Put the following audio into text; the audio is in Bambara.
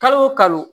Kalo o kalo